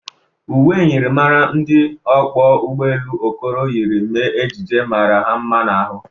Ụwe myịrịmara ndị ọkwọ ụgbọ elụ Okoro yiri mee ejije mara ya mma n'ahụ.